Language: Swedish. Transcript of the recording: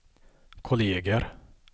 kolleger